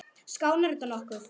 Skánar þetta nokkuð?